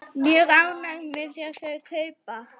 Mjög ánægð með þau kaup.